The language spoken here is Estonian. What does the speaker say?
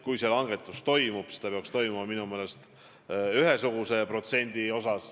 Kui see langetus toimub, siis peaks minu meelest aktsiisi langetama ühesuguse protsendi võrra.